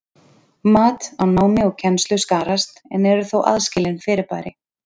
Mat á námi og kennslu skarast en eru þó aðskilin fyrirbæri.